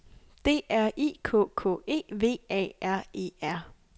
D R I K K E V A R E R